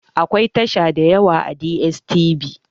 Akwai tasha dayawa a DSTV